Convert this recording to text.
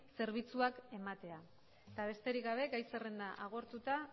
zerbitzuak ematea eta besterik gabe gai zerrenda agortuta